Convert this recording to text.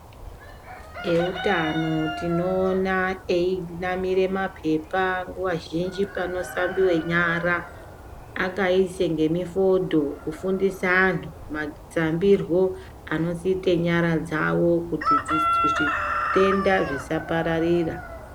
Eutano tinoona einamira mapepa nguwa zhinji panoshambiwa nyara akaisa nemifodho kufundisa antu mahlambirwo anoita nyara dzawo kuti zvitenda zvisapararira.